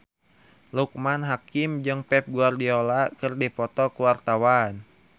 Loekman Hakim jeung Pep Guardiola keur dipoto ku wartawan